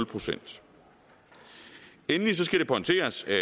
procent endelig skal det pointeres at